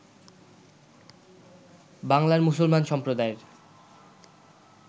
বাংলার মুসলমান সম্প্রদায়ের